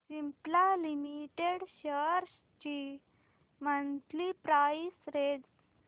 Cipla limited shares ची monthly price range